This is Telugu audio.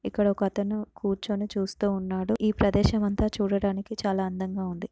ఇక్కడ ఒకతను కూర్చుని చూస్తూ ఉన్నాడు ఈ ప్రదేశం అంత చూడడానికి చాలా అందంగా ఉంది.